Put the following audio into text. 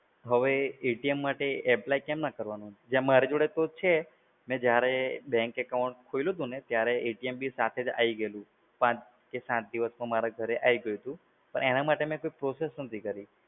હવે માટે apply કેવી રીતના કરવું? મારા જોડે તો છે. મે જ્યારે bank account ખોલ્યું હતું ને ત્યારે બી સાથે જ આઈ ગયેલું. પાંચ કે સાત દિવસમાં મારા ઘરે આઈ ગયું હતું. પણ એના માટે મે કોઈ process નહોતી કરી.